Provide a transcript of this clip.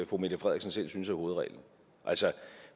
fru mette frederiksen selv synes er hovedreglen